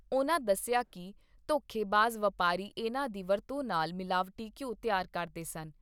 ਉਨ੍ਹਾਂ ਦੱਸਿਆ ਕਿ ਧੋਖੇਬਾਜ਼ ਵਪਾਰੀ ਇਨ੍ਹਾਂ ਦੀ ਵਰਤੋਂ ਨਾਲ ਮਿਲਾਵਟੀ ਘਿਉ ਤਿਆਰ ਕਰਦੇ ਸਨ।